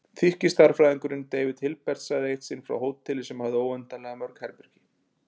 Þýski stærðfræðingurinn David Hilbert sagði eitt sinn frá hóteli sem hafði óendanlega mörg herbergi.